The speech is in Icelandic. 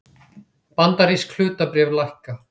Bandarísk hlutabréf lækka